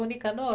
O Nicanor?